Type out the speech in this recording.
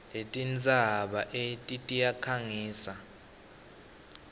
letintsaba eti tiyakhangiswa